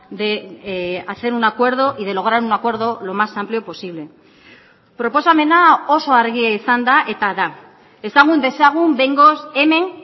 de hacer un acuerdo y de lograr un acuerdo lo más amplio posible proposamena oso argia izan da eta da ezagun dezagun behingoz hemen